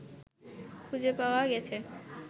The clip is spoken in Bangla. খুঁজে পাওয়া গেছে